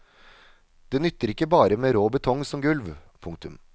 Det nytter ikke bare med rå betong som gulv. punktum